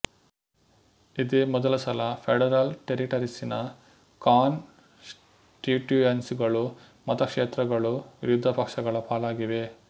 ಇದೇ ಮೊದಲ ಸಲ ಫೆಡರಲ್ ಟೆರಿಟರೀಸ್ ನ ಕಾನ್ ಸ್ಟಿಟುಯನ್ಸಿಗಳುಮತಕ್ಷೇತ್ರಗಳು ವಿರೋಧ ಪಕ್ಷಗಳ ಪಾಲಾಗಿವೆ